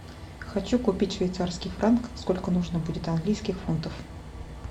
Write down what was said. хочу купить швейцарский франк сколько нужно будет английских фунтов